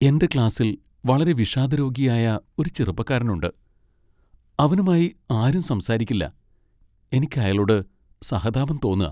എന്റെ ക്ലാസ്സിൽ വളരെ വിഷാദരോഗിയായ ഒരു ചെറുപ്പക്കാരനുണ്ട്, അവനുമായി ആരും സംസാരിക്കില്ല. എനിക്ക് അയാളോട് സഹതാപം തോന്നാ.